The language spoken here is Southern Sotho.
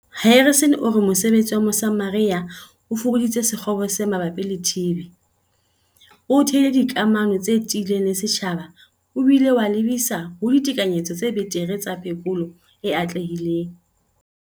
Harrison o re mosebetsi wa Mosamaria o fokoditse sekgobo se mabapi le TB, o theile dikamano tse tiileng le setjhaba o bile wa lebisa ho ditekanyetso tse betere tsa phekolo e atlehileng.